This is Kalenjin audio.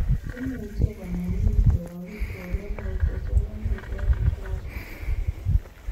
Imuche konamin koyap pikwok en autosomal recessive fashion